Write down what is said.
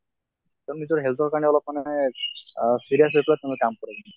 নিজৰ health ৰ কাৰণে অলপ মানে অহ serious হৈ পেলে তেওঁলোকে কাম কৰে